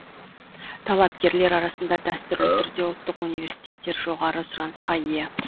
талапкерлер арасында дәстүрлі түрде ұлттық университеттер жоғары сұранысқа ие